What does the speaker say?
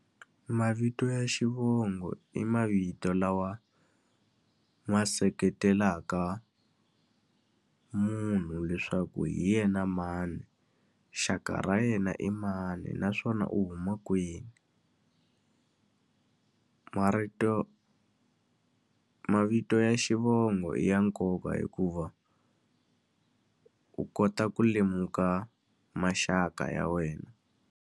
Mavito ya xivongo i mavito lawa ma seketelaka munhu leswaku hi yena mani, xaka ra yena i mani, naswona u huma kwini marito mavito ya xivongo i ya nkoka hikuva u kota ku lemuka maxaka ya wena.